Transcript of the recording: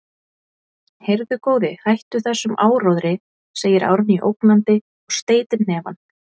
Heyrðu, góði, hættu þessum áróðri, segir Árný ógnandi og steytir hnefann.